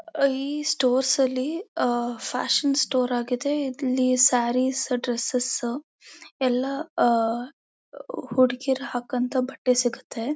ಆ ಈ ಸ್ಟೋರ್ಸ್ ಲಿ ಆ ಫ್ಯಾಷನ್ ಸ್ಟೋರ್ ಆಗಿದೆ ಇಲ್ಲಿ ಸಾರೀಸ್ ಡ್ರೆಸ್ಸೆಸ್ ಎಲ್ಲ ಆ ಹುಡುಗೀರು ಹಾಕೋ ಅಂತ ಬಟ್ಟೆ ಸಿಗುತ್ತೆ.